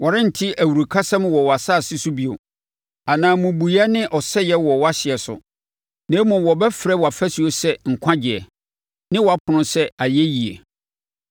Wɔrente awurukasɛm wɔ wʼasase so bio, anaa mmubuiɛ ne ɔsɛeɛ wɔ wʼahyeɛ so. Na mmom wobɛfrɛ wʼafasuo sɛ Nkwagyeɛ ne wʼapono sɛ Ayɛyie.